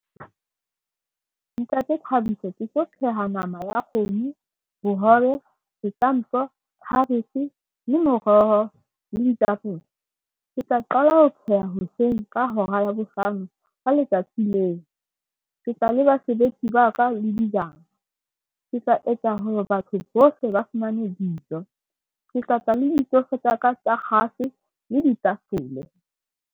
Ntate Thabiso ke tlo pheha nama ya kgomo, bohobe, setampo, khabetjhe le moroho le ditapole. Ke tla qala ho pheha hoseng ka hora ya bohlano ka letsatsi leo. Ke tla le basebetsi ba ka le dijana. Ke tla etsa hore batho bohle ba fumane dijo. Ke tla tla le ditofo tsa ka tsa kgase le ditafole.